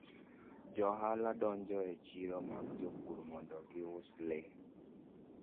Johala donjo e chiro mag jopur mondo gius le.